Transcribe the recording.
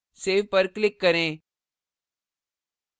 save पर click करें